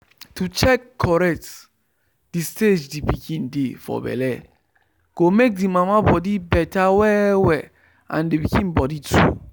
to check correct the stage the pikin dey for belle go make the mama body better well well and the pikin body too.